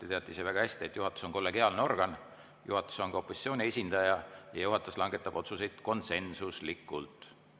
Te teate ise väga hästi, et juhatus on kollegiaalne organ, juhatuses on ka opositsiooni esindaja ja juhatus langetab otsuseid konsensuslikult.